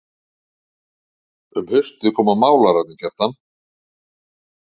Um haustið koma málararnir Kjartan